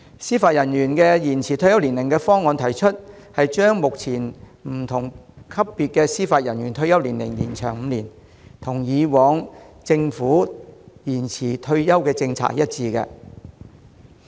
司法人員延展退休年齡的方案，將不同級別司法人員的退休年齡延長5年，與以往政府的延展退休年齡政策一致。